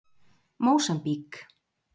Mósambík